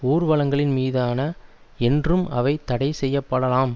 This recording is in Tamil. ஊர்வலங்களின் மீதான என்றும் அவை தடை செய்ய படலாம்